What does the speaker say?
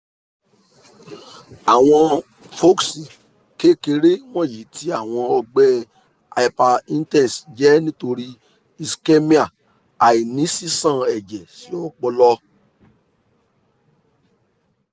kekere wọnyi ti awọn ọgbẹ hyperintese jẹ nitori ischemia aini sisan ẹjẹ si ọpọlọ